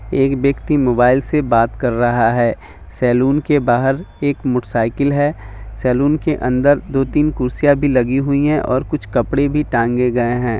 एक व्यक्ति मोबाईल से बात करा रहा है सलून के बहार एक मोटरसाइकिल है सलून के अंदर दो तीन कुर्सियां भी लगी हुई है और कुछ कपडे भी टंगे गए हैं।